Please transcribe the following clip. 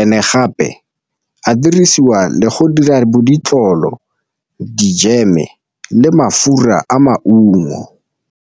and-e gape a dirisiwa le go dira bo ditlolo dijeme le mafura a maungo.